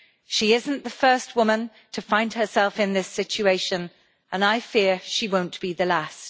She isn't the first woman to find herself in this situation, and I fear she won't be the last.